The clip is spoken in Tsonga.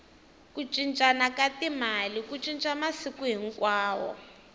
ku cincana ka timali ku cinca masiku hinkwawo